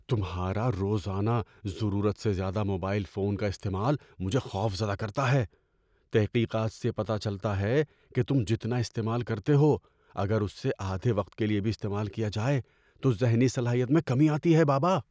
تمھارا روزانہ ضرورت سے زیادہ موبائل فون کا استعمال مجھے خوفزدہ کرتا ہے۔ تحقیقات سے پتہ چلتا ہے کہ تم جتنا استعمال کرتے ہو اگر اس سے آدھے وقت کے لیے بھی استعمال کیا جائے تو ذہنی صلاحیت میں کمی آتی ہے۔ (بابا)